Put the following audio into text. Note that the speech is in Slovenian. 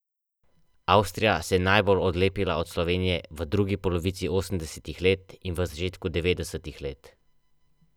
Če pa se na sprehod ali, še bolje, daljši izlet odpravimo skupaj z vso družino, bomo prijetne sadove teh skupnih uric s hvaležnostjo še nekaj časa uživali prav vsi.